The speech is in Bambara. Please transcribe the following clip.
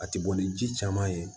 A ti bɔ ni ji caman ye